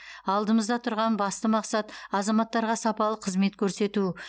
алдымызда тұрған басты мақсат азаматтарға сапалы қызмет көрсету